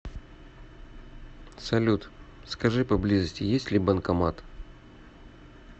салют скажи поблизости есть ли банкомат